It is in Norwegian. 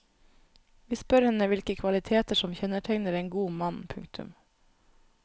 Vi spør henne hvilke kvaliteter som kjennetegner en god mann. punktum